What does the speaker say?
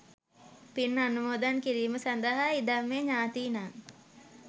පින් අනුමෝදන් කිරීම සඳහා ඉදං මෙ ඤාතීනං.